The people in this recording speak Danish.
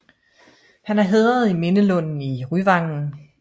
Han er hædret i Mindelunden i Ryvangen